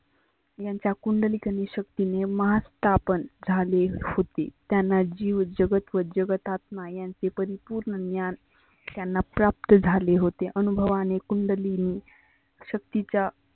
यांचा कुंडलीक शक्ती ने स्थापण झाले होते. त्यांना जिव जगत व जगत आत्मा यांचे परिपुर्ण ज्ञान त्यांना प्राप्त झाले होते. अनुभवाने कंडलीने शक्तीच्या